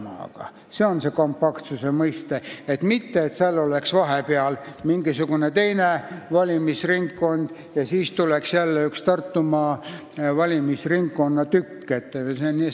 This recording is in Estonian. Seda tähendab see kompaktsuse mõiste, mitte seda, et seal oleks vahepeal mingisugune teine valimisringkond ja siis tuleks jälle üks Tartumaa valimisringkonna tükk.